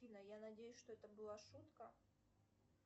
афина я надеюсь что это была шутка